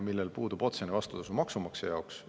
Sellel puudub otsene vastutasu maksumaksja jaoks.